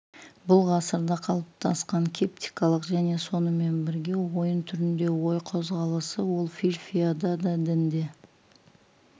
бұл ғасырда қалыптасқан кептикалық және сонымен бірге ойын түрінде ой қозғалысы ол филфияда да дінде